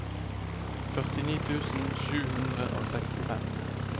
førtini tusen sju hundre og sekstifem